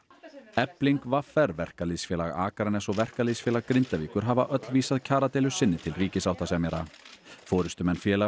efling v r Verkalýðsfélag Akraness og Verkalýðsfélag Grindavíkur hafa öll vísað kjaradeilu sinni til ríkissáttasemjara forystumenn félaganna